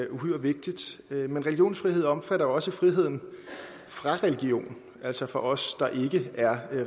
uhyre vigtigt men religionsfrihed omfatter også friheden fra religion altså for os der ikke er